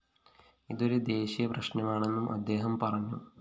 ഇതൊരു ദേശീയ പ്രശ്‌നമാണെന്നും അദ്ദേഹം പറഞ്ഞു